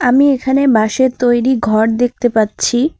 আমি এখানে বাঁশের তৈরি ঘর দেখতে পাচ্ছি।